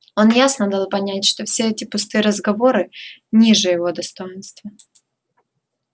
он ясно дал понять что все эти пустые разговоры ниже его достоинства